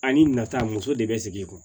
Ani nata muso de bɛ sigi i kun